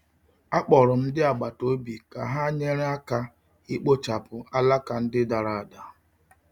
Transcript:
Akpọrọ m ndị agbata obi ka ha nyere aka ikpochapụ alaka ndị dara ada.